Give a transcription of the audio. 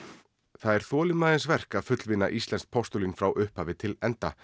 það er þolinmæðisverk að fullvinna postulín frá upphafi til enda